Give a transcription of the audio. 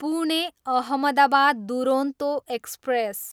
Pune, Ahmedabad Duronto express